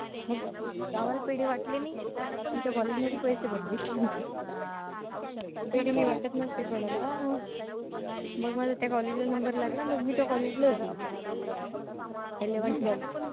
मग गावाला पेढे वाटले नाही. मी त्या कॉलेज मध्ये पैसे भरले. पेढे मी वाटत नसते कुणाला. मग माझा त्या कॉलेज ला नंबर लागला. मग मी त्या नंबर ला होती. Eleventh twelve